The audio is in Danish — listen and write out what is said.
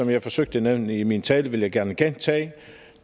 jeg forsøgte at nævne i min tale og jeg vil gerne gentage